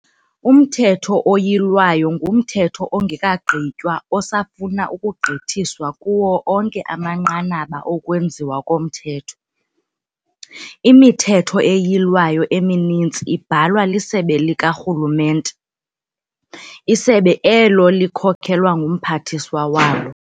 Umthetho oyilwayo ngumthetho ongekagqitywa osafuna ukugqithiswa kuwo onke amanqanaba okwenziwa komthetho. ImiThetho eYilwayo emininzi ibhalwa lisebe likarhulumente, isebe elo likhokelwa ngumphathiswa walo.